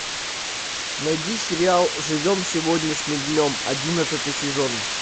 найди сериал живем сегодняшним днем одиннадцатый сезон